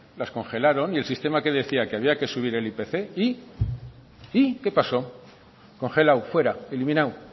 las congelaron y el sistema qué decía que había que subir el ipc y y qué paso congelado fuera eliminado